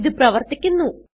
ഇത് പ്രവർത്തിക്കുന്നു